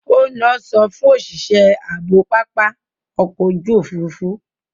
Ó ń lọ sọfún òṣìṣẹ́ ààbò pápá ọkọ̀ ojú òfuurufú.